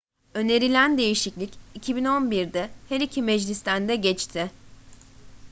önerilen değişiklik 2011'de her iki meclisten de geçti